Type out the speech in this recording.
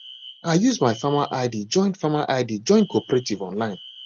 i use my farmer id join farmer id join cooperative online